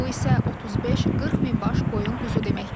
Bu isə 35-40 min baş qoyun quzu deməkdir.